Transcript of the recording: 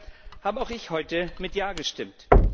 Dafür habe auch ich heute mit Ja gestimmt.